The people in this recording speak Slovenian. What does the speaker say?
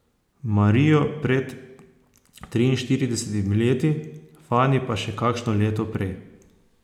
Marijo pred triinštiridesetimi leti, Fani pa še kakšno leto prej.